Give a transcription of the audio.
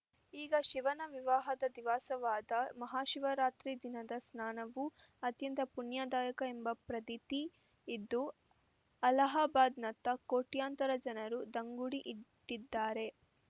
ಈಗ ಶಿವನ ವಿವಾಹದ ದಿವಸವಾದ ಮಹಾಶಿವರಾತ್ರಿ ದಿನದ ಸ್ನಾನವು ಅತ್ಯಂತ ಪುಣ್ಯದಾಯಕ ಎಂಬ ಪ್ರತೀತಿ ಇದ್ದು ಅಲಹಾಬಾದ್‌ನತ್ತ ಕೋಟ್ಯಂತರ ಜನರು ದಾಂಗುಡಿ ಇಟ್ಟಿದ್ದಾರೆ